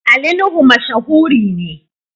Ali Nuhu mashahuri ne.